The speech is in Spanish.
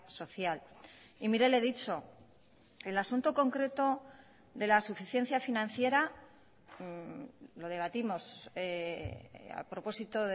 social y mire le he dicho el asunto concreto de la suficiencia financiera lo debatimos a propósito